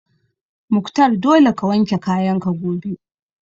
Mukhtar dole ka wanke kayan ka gobe!